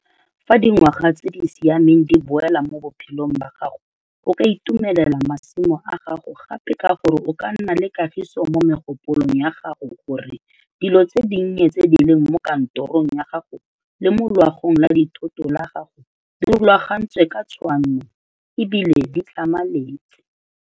Fa dingwaga tse di siameng di boela mo bophelong ba gago o ka itumelela masimo a gago gape ka gore o ka nna le kagiso mo megopolong ya gago gore dilo tse dinnye tse di leng mo kantorong ya gago le mo loago la dithoto la gago di rulangantswe ka tshwanno ebile di tlhamaletse.